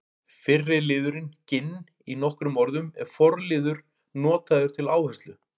Fyrri liðurinn ginn- í nokkrum orðum er forliður notaður til áherslu.